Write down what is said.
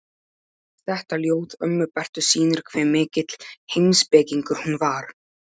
Þetta ljóð ömmu Bertu sýnir hve mikill heimspekingur hún var.